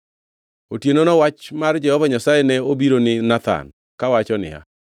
Otienono wach mar Jehova Nyasaye ne obiro ni Nathan, kawacho niya,